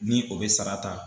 Ni o bɛ sara ta